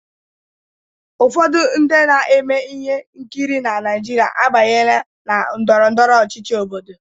Ụfọdụ ndị na-eme ihe nkiri na Naịjirịa abanyela na ndọrọ ndọrọ ọchịchị Obodo.